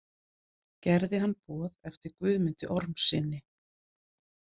Gerði hann boð eftir Guðmundi Ormssyni.